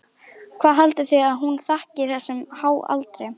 Hvað haldið þið að hún þakki þessum háa aldri?